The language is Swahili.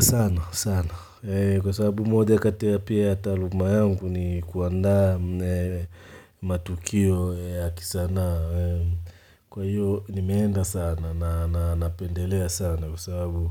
Sana, sana. Kwa sababu moja kati pia ya taaluma yangu ni kuanda matukio ya kisana. Kwa hiyo ni meenda sana na napendelea sana kwa sababu